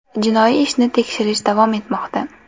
Jinoiy ishni tekshirish davom etmoqda.